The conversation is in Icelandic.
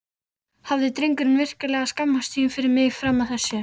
Hafði drengurinn virkilega skammast sín fyrir mig fram að þessu?